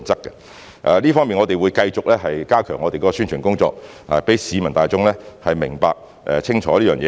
就這方面，我們會繼續加強宣傳工作，讓市民大眾明白、清楚這件事。